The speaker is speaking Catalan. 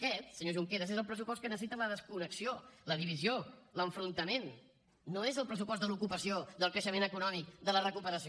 aquest senyor junqueras és el pressupost que necessita la desconnexió la divisió l’enfrontament no és el pressupost de l’ocupació del creixement econòmic de la recuperació